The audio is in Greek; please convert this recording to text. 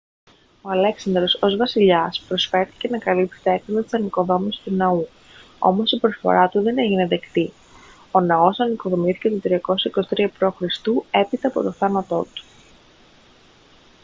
ο αλέξανδρος ως βασιλιάς προσφέρθηκε να καλύψει τα έξοδα της ανοικοδόμησης του ναού όμως η προσφορά του δεν έγινε δεκτή ο ναός ανοικοδομήθηκε το 323 π.χ. έπειτα από τον θάνατό του